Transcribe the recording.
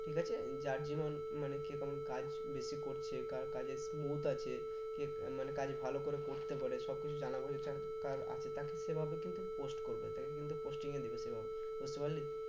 ঠিক আছে যার মানে কে কেমন কাজ বেশি করছে? কার কাজ এর আছে কে মানে কাজ ভালো করে করতে পারে সব কিছু জানা বোঝা যার কার আছে দেখ সেভাবে কিন্তু post করবে বুঝতে পারলি?